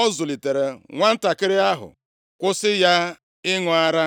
ọ zụlitere nwantakịrị ahụ, kwụsị ya ịṅụ ara.